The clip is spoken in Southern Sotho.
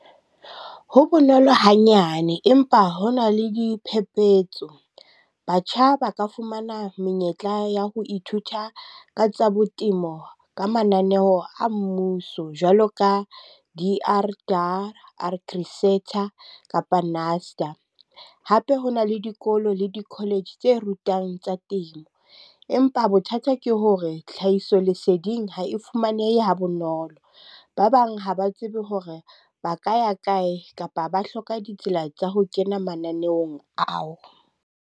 Ho bonolo hanyane, empa ho na le diphephetso. Batjha ba ka fumana menyetla ya ho ithuta ka tsa bo temo ka mananeo a mmuso jwalo ka di kapa . Hape ho na le dikolo le di-college tse rutang tsa temo. Empa bothata ke hore tlhahiso leseding ha e fumanehe ha bonolo. Ba bang ha ba tsebe hore ba ka ya kae kapa ba hloka ditsela tsa ho kena mananeong ao.